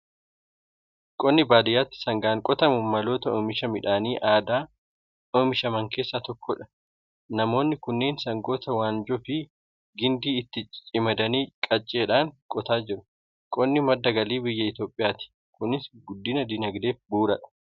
Qonni baadiyaatti sangaatiin qotamu maloota oomisha midhaanii aadaan oomishaman keessaa tokkodha. Namoonni kunneen sangoota waanjoo fi gindii itti camadanii, qacceedhaan qotaa jiru. Qonni madda galii biyya Itoophiyaati. Kunis guddina dinaagdeef bu'uuradha!